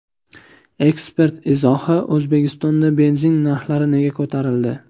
Ekspert izohi: O‘zbekistonda benzin narxlari nega ko‘tarildi?.